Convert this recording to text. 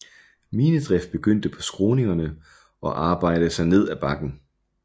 Minedrift begyndte på skråningerne og arbejdede sig ned ad bakken